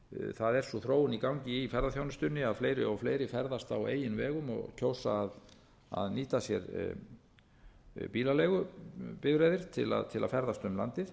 það er sú þróun í gangi í ferðaþjónustunni að fleiri og fleiri ferðast á eigin vegum og kjósa að nýta sér bílaleigubifreiðar til að ferðast um landið